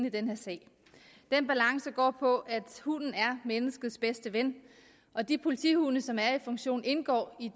i den her sag den balance går på at hunden er menneskets bedste ven og de politihunde som er i funktion indgår i